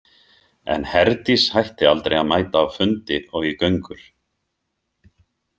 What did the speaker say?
En Herdís hætti aldrei að mæta á fundi og í göngur.